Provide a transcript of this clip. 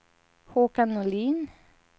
Håkan Norlin